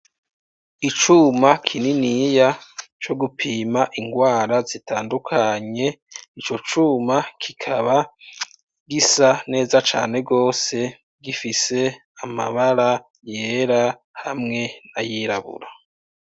Icuma kininiya, co gupima ingwara zitandukanye, ico cuma, kikaba gisa neza cane rwose, gifise amabara yera hamwe n'ayirabura.